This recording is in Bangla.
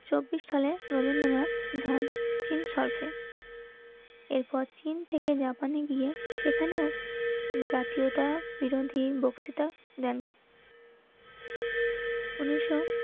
চব্বিশ সালের রবীন্দ্রনাথ ধান চীন সার্ভে এরপর চিন থেকে জাপানে গিয়ে সেখানেও জাতীয়তাবিরোধী বক্তৃতা দেন. উনিশশো